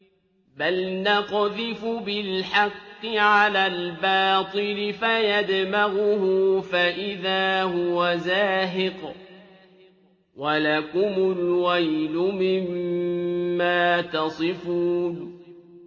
بَلْ نَقْذِفُ بِالْحَقِّ عَلَى الْبَاطِلِ فَيَدْمَغُهُ فَإِذَا هُوَ زَاهِقٌ ۚ وَلَكُمُ الْوَيْلُ مِمَّا تَصِفُونَ